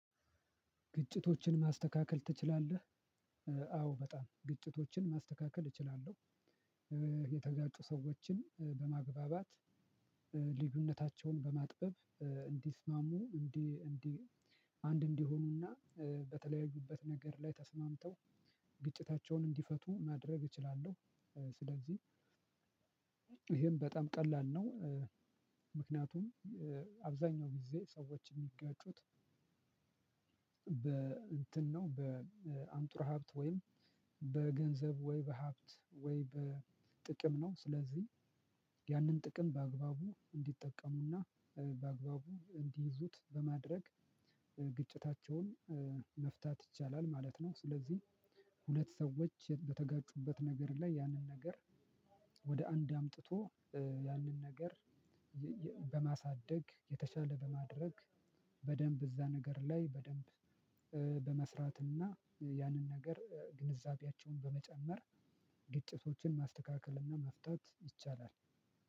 ግጭቶችን ማስተካከል ትችላለህ? አዎ በጣም ግጭቶችን ማስተካከል እችላለሁ። ሰዎችን በማግባባት ልዩነታቸውን በማጥበብ እንዲስማሙ እንዲ እንዲ አንድ እንዲሆኑና በተለያዩበት ነገር ላይ ተስማምተው ግጭታቸውን እንዲፈቱ ማድረግ እችላለሁ። ስለዚህ ይሄም በጣም ቀላል ነው። ምክንያቱም አብዛኛው ጊዜ ሰዎች የሚጋጩት እንትን ነው በአንጡራ ሀብት ወይም በገንዘብ ወይ በሀብት ወይ በጥቅም ነው። ስለዚህ ያንን ጥቅም በአግባቡ እንዲጠቀሙና በአግባቡ እንዲይዙት በማድረግ ግጭታቸውን መፍታት ይቻላል ማለት ነው። ስለዚህ ሁለት ሰዎች በተጋጩበት ነገር ላይ ያንን ነገር ወደ አንድ አምጥቶ ያንን ነገር በማሳደግ የተሻለ በማድረግ በደንብ እዛ ነገር ላይ በደንብ በመስራትና ያንን ነገር ግንዛቤያቸውን በመጨመር ግጭቶችን ማስተካከልና እና መፍታት ይቻላል።